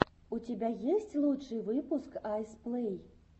у тебя есть лучший выпуск айс плэй